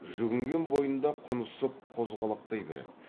жүгінген бойында құнысып қозғалақтай берді